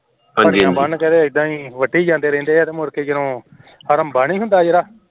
ਬੰਨ੍ਹ ਕੇ ਐਦਾਂ ਈ ਵੱਡੀ ਜਾਂਦੇ ਰਹਿੰਦੇ ਏ ਮੁੜ ਕੇ ਜਦੋ ਹੜੰਬਾ ਨਹੀਂ ਹੁੰਦਾ ਜੇੜਾ